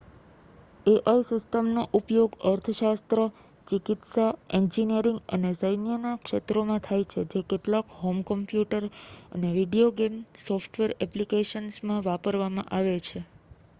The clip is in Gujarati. એઆઈ સિસ્ટમનો ઉપયોગ અર્થશાસ્ત્ર ચિકિત્સા એન્જિનીયરિંગ અને સૈન્યના ક્ષેત્રોમાં થાય છે જે કેટલાક હોમ કમ્પ્યુટર અને વીડિયો ગેમ સોફ્ટવેર એપ્લિકેશન્સમાં વાપરવામાં આવે છે